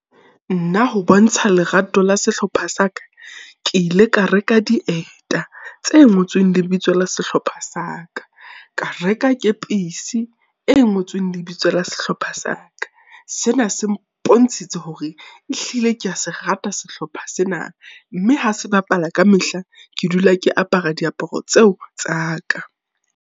Nna ho bontsha lerato la sehlopha sa ka, ke ile ka reka dieta tse ngotsweng lebitso la sehlopha sa ka. Ka reka kepisi e ngotsweng lebitso la sehlopha sa ka. Sena se mpontshitse hore ehlile kea se rata sehlopha sena. Mme ha se bapala kamehla, ke dula ke apara diaparo tseo tsa ka.